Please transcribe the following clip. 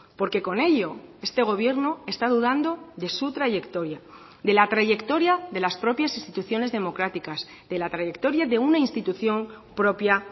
porque con ello este gobierno está dudando de su trayectoria de la trayectoria de las propias instituciones democráticas de la trayectoria de una institución propia